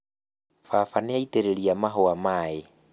Baba nĩaitĩrĩria mahũa maĩ